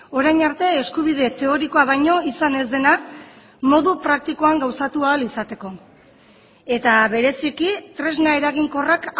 orain arte eskubide teorikoa baino izan ez dena modu praktikoan gauzatu ahal izateko eta bereziki tresna eraginkorrak